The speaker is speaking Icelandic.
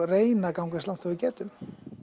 reyna að ganga eins langt og við getum